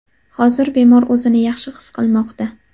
Hozir bemor o‘zini yaxshi his qilmoqda.